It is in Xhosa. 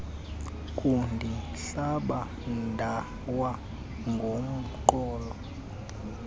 kundihlaba ndawa ngomqolo